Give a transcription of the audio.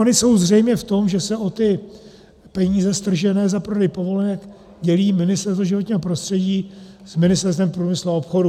Ony jsou zřejmě v tom, že se o ty peníze stržené za prodej povolenek dělí Ministerstvo životního prostředí s Ministerstvem průmyslu a obchodu.